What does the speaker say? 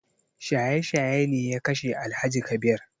Shaye shaye ne ya kashe Alhaji Kabir